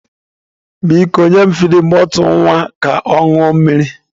Biko, nye m fidin bọtụlụ nwa ka ọ ṅụọ mmiri!